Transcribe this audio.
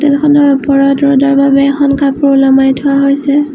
হোটেলখনৰ ওপৰত ৰ'দৰ বাবে এখন কাপোৰ ওলোমাই থোৱা হৈছে।